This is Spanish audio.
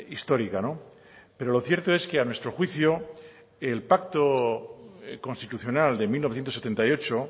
histórica pero lo cierto es que a nuestro juicio el pacto constitucional de mil novecientos setenta y ocho